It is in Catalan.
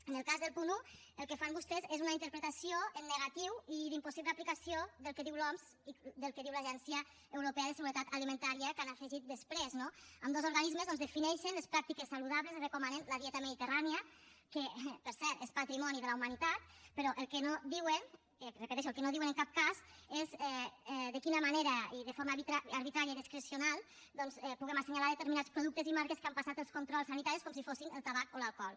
en el cas del punt un el que fan vostès és una interpretació en negatiu i d’impossible aplicació del que diu l’oms i del que diu l’agència europea de seguretat alimentària que han afegit després no ambdós organismes defineixen les pràctiques saludables i recomanen la dieta mediterrània que per cert és patrimoni de la humanitat però el que no diuen ho repeteixo el que no diuen en cap cas és de quina manera i de forma arbitraria i discrecional doncs puguem assenyalar determinats productes i marques que han passat els controls sanitaris com si fossin el tabac o l’alcohol